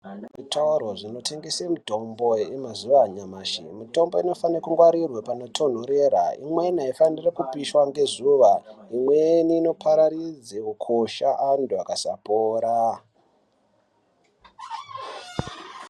Pane zvitoro zvinotengese mitombo yemazuva anyamashi, mitombo inofana kungwarirwa panotonhorera, imweni aifaniri kupishwa ngezuva, imweni inopararidze ukosha antu akasapora.